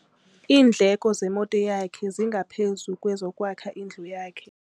Iindleko zemoto yakhe zingaphezu kwezokwakha indlu yakhe.